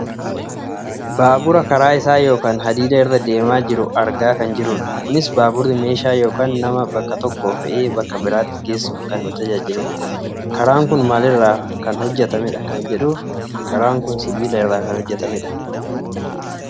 Baabura karaa isaa yookaan hadiida irra deemaa jiru argaa kan jirrudha. Kunis baaburri meeshaa yookaan nama bakka tokkoo fe'ee bakka biraatti geessuuf kan nu tajaajiludha. Karaan kun maalirra kan hojjatamedha?